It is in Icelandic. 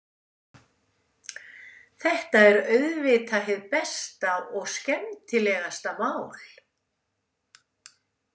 Þetta er auðvitað hið besta og skemmtilegasta mál.